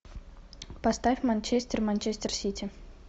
поставь манчестер манчестер сити